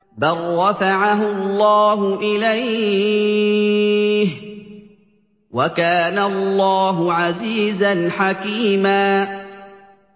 بَل رَّفَعَهُ اللَّهُ إِلَيْهِ ۚ وَكَانَ اللَّهُ عَزِيزًا حَكِيمًا